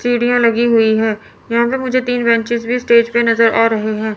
सीढ़ियां लगी हुई हैं यहां पे मुझे तीन बेंचेज भी स्टेज पे नजर आ रहे हैं।